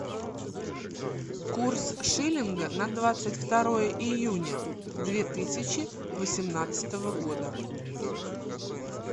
курс шиллинга на двадцать второе июня две тысячи восемнадцатого года